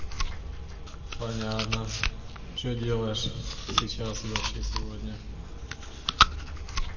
понятно что делаешь сейчас и вообще сегодня